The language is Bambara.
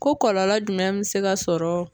Ko kɔlɔlɔ jumɛn mi se ka sɔrɔ